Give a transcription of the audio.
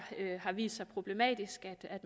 har vist sig problematisk at